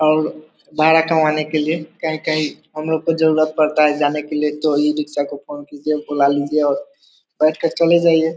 और भाड़ा कराने के लिए कहीं-कहीं हम लोग को जरुरत पड़ता है जाने के लिए तो ये इ-रिक्शा को फ़ोन कीजिए बुला लीजिए और बैठ कर चले जाइए।